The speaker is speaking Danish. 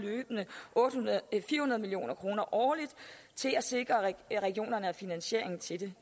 fire hundrede million kroner årligt til at sikre at regionerne har finansieringen til det